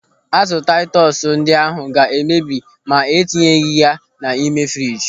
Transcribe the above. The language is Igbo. Azụ taitus ndị ahụ ga emebi ma ị tinyeghị ha n'ime friji.